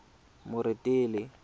moretele